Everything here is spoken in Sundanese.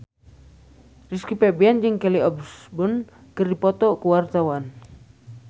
Rizky Febian jeung Kelly Osbourne keur dipoto ku wartawan